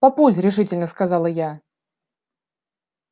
папуль решительно сказала я